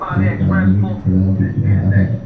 एक आदमी खड़ा दिख रहा है।